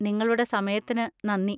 നിങ്ങളുടെ സമയത്തിന് നന്ദി.